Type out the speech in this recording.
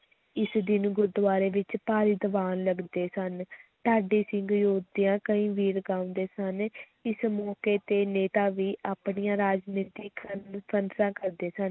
ਇਸ ਦਿਨ ਗੁਰਦੁਆਰੇ ਵਿੱਚ ਭਾਰੀ ਦੀਵਾਨ ਲਗਦੇ ਸਨ ਢਾਡੀ ਸਿੰਘ ਯੋਧਿਆਂ ਕਈ ਵੀਰ ਗਾਉਂਦੇ ਸਨ ਇਸ ਮੌਕੇ 'ਤੇ ਨੇਤਾ ਵੀ ਆਪਣੀਆਂ ਰਾਜਨੀਤਕ ਕਾਨਫ਼ਰੰਸਾਂ ਕਰਦੇ ਸਨ,